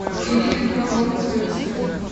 ирина петровна крымская